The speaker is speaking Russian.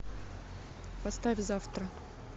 поставь завтра